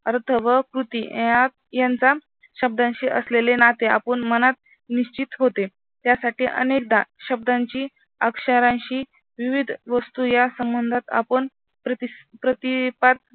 अर्थ व कृती यात यांचा शब्दांशी असलेले नाते आपण मनात निश्चित होते त्यासाठी अनेकदा शब्दांची अक्षरांशी विविध वस्तू या संबंधात आपण प्रतिपात